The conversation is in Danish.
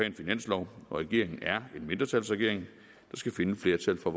en finanslov og regeringen er en mindretalsregering der skal finde flertal for